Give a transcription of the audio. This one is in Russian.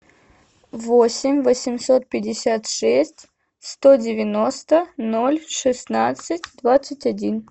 восемь восемьсот пятьдесят шесть сто девяносто ноль шестнадцать двадцать один